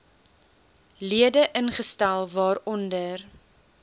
lede ingestel waaronder